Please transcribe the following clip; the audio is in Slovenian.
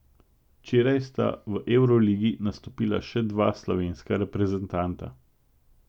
Včeraj sta v evroligi nastopila še dva slovenska reprezentanta.